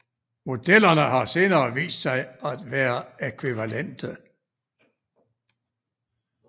Modellerne har senere vist sig at være ækvivalente